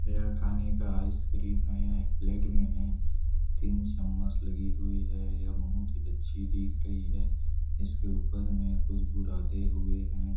यह खाने का आइस क्रीम हैं एक प्लेट में हैं तीन चम्मस लगी हुई हैं यह बहुत ही अच्छी दिख रही हैं जिसके ऊपर में कुछ बुरादे हुए हैं।